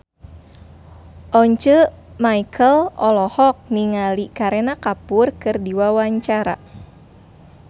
Once Mekel olohok ningali Kareena Kapoor keur diwawancara